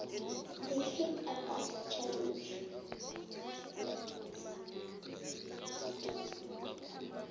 the cape argus challenge